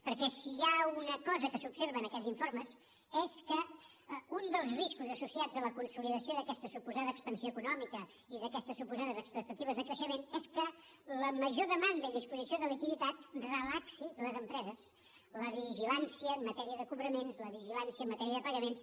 perquè si hi ha una cosa que s’observa en aquests informes és que un dels riscos associats a la consolidació d’aquesta suposada expansió econòmica i d’aquestes suposades expectatives de creixement és que la major demanda i disposició de liquiditat relaxi les empreses la vigilància en matèria de cobraments la vigilància en matèria de pagaments